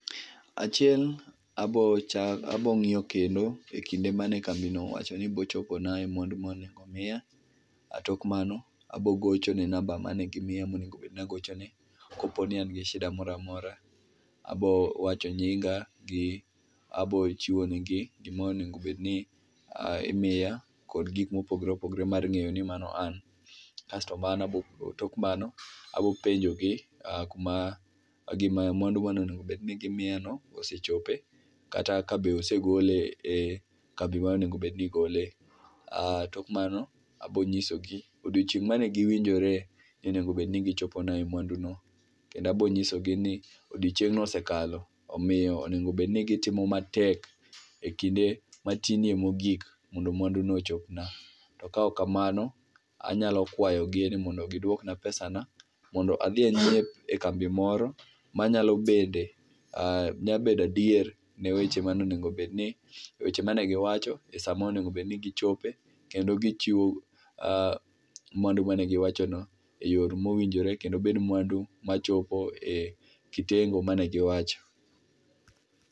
Achiel, abo cha, abo ng'iyo kendo e kinde mane kambino owachoni bo chopona mwandu mane onego obed ni miya, tok mano abo gochone namba mane gimiya mane onego obedni agochone. Koponi an gi shida moro maora, abo wacho nyinga gi, bo chiwo negi gima onego obedni imiya kod gikma opogore opogore mag ng'eyo ni an, tok mano abo penjogi kuma gima ,mwandu mane onego obedni gimiya no osechope kata kabe osegole e kambi mane onego obed ni igole. Tok mano, abo nyisogi odiochieng' mane giwinjore ni onego obed ni gichopona e mwandu no kendo abo nyisogi ni odiochieng no osekalo omiyo onego obedni gitimo matek ekinde matinie mogik mondo mwandu no ochopna. To kaok kamano anyalo kwayogi mondo giduokna pesana mondo adhi anyiep e kambi moro manyalo bede, nya bedo adier ne weche mane onego bedni, weche mane giwacho e saa monego obedni gichope kendo gichiwo mwandu mane giwacho no e yor mowinjore kendo obed mwandu machopo e kitengo mane giwacho